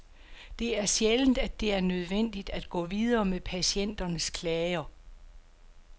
Det er sjældent, at det er nødvendigt at gå videre med patienternes klager.